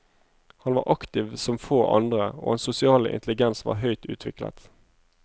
Han var aktiv som få andre, og hans sosiale intelligens var høyt utviklet.